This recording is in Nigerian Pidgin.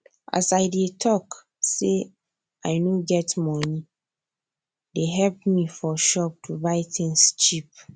as i dey talk say i nor get moni dey help me for shop to buy tins cheap